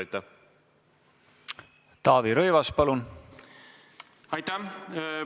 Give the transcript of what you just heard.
Aitäh!